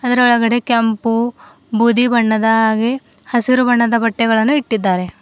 ಇದರೊಳಗಡೆ ಕೆಂಪು ಬೂದಿ ಬಣ್ಣದ ಹಾಗೆ ಹಸಿರು ಬಣ್ಣದ ಬಟ್ಟೆಗಳನ್ನು ಇಟ್ಟಿದ್ದಾರೆ.